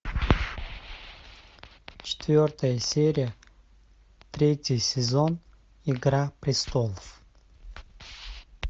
четвертая серия третий сезон игра престолов